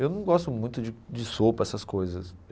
Eu não gosto muito de de sopa, essas coisas.